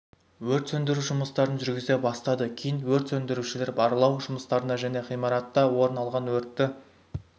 өрт сөндіру жұмыстарын жүргізе бастады кейін өрт сөндірушілер барлау жұмыстарына және ғимаратта орын алған өртті